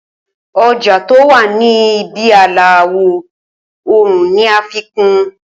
Oja to wa Ni ibi ààlà, àwò òòrùn ní a fi kun